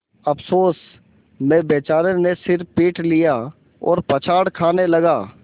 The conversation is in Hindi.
अफसोस में बेचारे ने सिर पीट लिया और पछाड़ खाने लगा